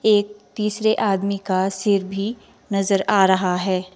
एक तीसरे आदमी का सिर भी नजर आ रहा है।